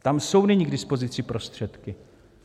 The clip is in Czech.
Tam jsou nyní k dispozici prostředky.